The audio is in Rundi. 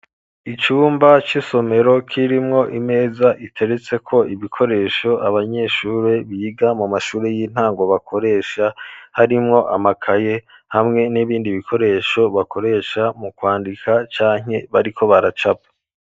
Icumba c'isomero kirimwo imeza iteretseko ibikoresho abanyeshure biga mu mashure y'intango bakoresha harimwo amakaye hamwe n'ibindi bikoresho bakoresha mu kwandika canke bariko baracapa.